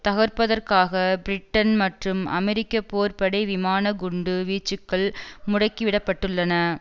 தகர்ப்பதற்காக Britain மற்றும் அமெரிக்க போர் படை விமான குண்டு வீச்சுக்கள் முடுக்கிவிடப்பட்டுள்ளன